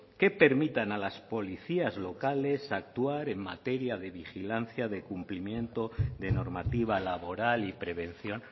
que permitan a las policías locales actuar en materia de vigilancia de cumplimiento de normativa laboral y prevención